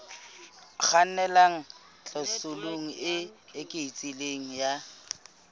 kgannelang tlhaselong e eketsehang ya